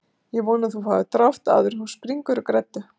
Ég vona að þú fáir drátt áður en þú springur úr greddu